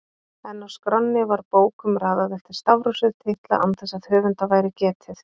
En á skránni var bókum raðað eftir stafrófsröð titla án þess að höfunda væri getið